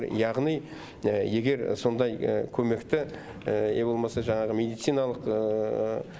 яғни егер сондай көмекті не болмаса жаңағы медициналық